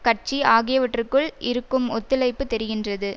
கட்சி ஆகியவற்றுக்குள் இருக்கும் ஒத்துழைப்புத் தெரிகின்றது